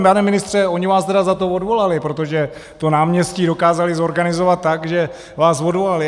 Pane ministře, oni vás teda za to odvolali, protože to náměstí dokázali zorganizovat tak, že vás odvolali.